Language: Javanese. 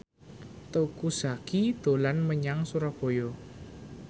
Teuku Zacky dolan menyang Surabaya